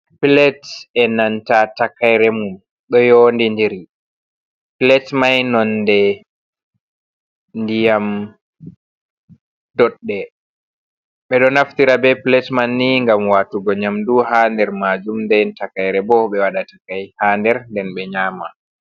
Plates e nanta takaire mum ɗo yondidiri plate mai nonde ndiyam doɗɗe. Ɓeɗo naftira be plate man ni gam watugo nyamdu ha der majum nde takaire bo ɓe waɗa takai ha nder nden be nyama.